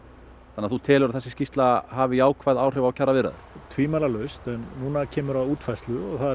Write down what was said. þannig að þú telur að þessi skýrsla hafi jákvæð áhrif á kjaraviðræður tvímælalaust en núna kemur að útfærslu og það